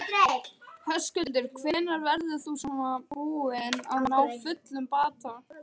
Höskuldur: Hvenær verður þú svona búinn að ná fullum bata?